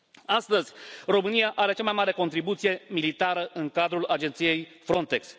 Astăzi, Romania are cea mai mare contribuție militară în cadrul agenției Frontex.